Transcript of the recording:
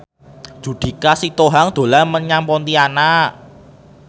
Judika Sitohang dolan menyang Pontianak